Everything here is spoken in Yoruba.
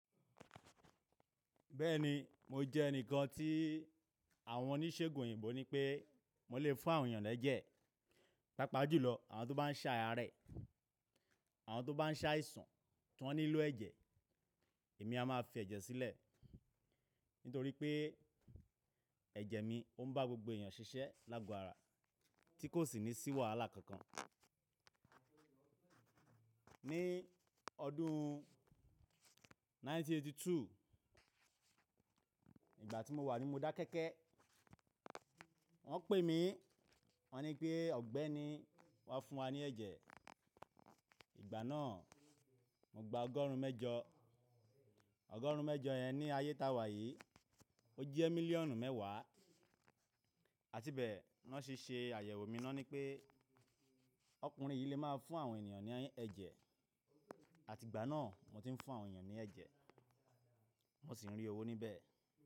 Bẹ́ẹ̀ni, mo jẹ́ ẹnìkan tí àwọn oníṣègùn òyìnbó nipé mo lè fún àwọn ènìyàn lẹ́jẹ̀, pàápàá jùlọ àwọn tó bá ń se arẹ̀, àwọn tó bá ń se àìsàn tí wọ́n nílò ẹ̀jẹ̀, èmi a má fi ẹ̀jẹ̀ sílẹ̀ nítorí pé ẹ̀jẹ̀ mi o ń bá gbogbo ènìyàn ṣiṣẹ́ lágbo ará tí kò sì ní sí wàhàla kankan. Ni ọdún ẹgbẹ̀rún kan ó lé ọgọ́rùn-ún mẹ́sàn-án ó lé éjìlélọ́gọ́rin ìgbà tí mo wà ní Modákẹ́kẹ́, wọ́n pè mí, wọ́n ní pé ọ̀gbẹ́ni wá fún wa ní ẹ̀jẹ̀. Ìgbà náà mo gba ọgọ́rùn-ún mẹ́jọ, ọgọ́rùn-ún mẹ́jọ yẹn ní ayé tá wà yìí, ó jẹ́ mílíọ̀nù mẹ́wàá, àti bẹ́ẹ̀ wọ́n se ṣe àyẹ̀wò mi ni won ni pé ọkùnrin yìí lè máa fún àwọn ènìyàn ní ẹ̀jẹ̀, àti ìgbà náà mo ti ń fún àwọn ènìyàn ní ẹ̀jẹ̀, mo sì ń rí owó níbẹ̀